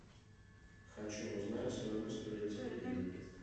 хочу узнать стоимость турецкой лиры